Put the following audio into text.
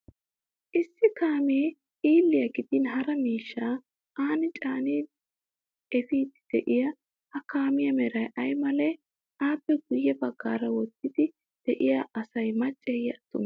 Issi kaamee xiilliya gidin hara miishshaa Ani caanin efiiddi de'es ha kaamiya Meray ay malee? Affe guyye baggaara wottiiddi de'iya asi macceeyye attumee?